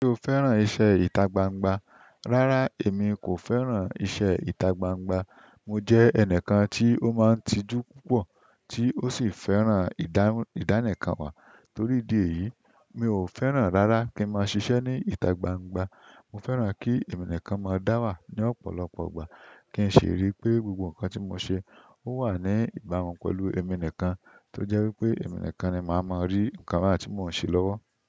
Ṣé o fẹ́ràn iṣẹ́ ìta gbangba? Rárá, èmi kò fẹ́ràn iṣẹ́ ìta gbangba. Mo jẹ́ ẹnìkan tí ó máa ń tijú púpọ̀ tí ó sì fẹ́ràn ìdánìkànwá. Torí dì èyí, mi ò fẹ́ràn rárá kí ń máa ṣiṣẹ́ ní ìta gbangba. Mo fẹ́ràn kí ẹ̀mí nìkan máa dá wà ní ọ̀pọ̀lọpọ̀ ìgbà kí n ṣe rí pé gbogbo nǹkan tí mo ṣe, ó wà ní ìbámu pẹ̀lú ẹ̀mí nìkan tó jẹ́ wí pé ẹ̀mí nìkan ni màá máa rí nǹkan tí mò ń ṣe lọ́wọ́.